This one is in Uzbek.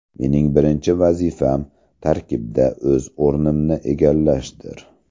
Mening birinchi vazifam – tarkibda o‘z o‘rnimni egallashdir.